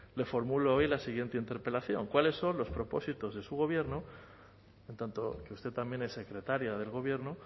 le formulo hoy la siguiente interpelación cuáles son los propósitos de su gobierno en tanto que usted también en secretaria del gobierno